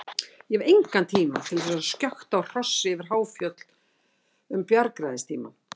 Ég hef engan tíma til þess að skjökta á hrossi yfir háfjöll um bjargræðistímann.